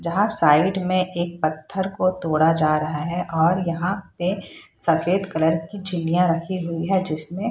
जहां साइड में एक पत्थर को तोड़ा जा रहा है और यहां पे सफेद कलर की चिड़िया रखी हुई है जिसमें --